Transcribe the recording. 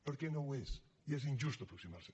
perquè no ho és i és injust aproximar s’hi